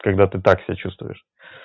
когда ты так себя чувствуешь